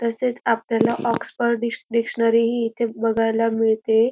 तसेच आपल्याला ऑक्सफर्ड डिक्श डिक्शनरी ही आपल्याला बघायला मिळते.